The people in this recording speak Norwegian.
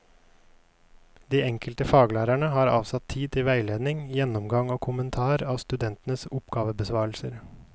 De enkelte faglærerne har avsatt tid til veiledning, gjennomgang og kommentar av studentenes oppgavebesvarelser.